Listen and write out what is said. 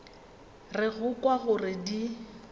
re go kwa gore di